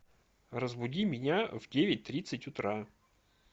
разбуди меня в девять тридцать утра